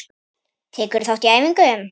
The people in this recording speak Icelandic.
Tekurðu þátt í æfingum?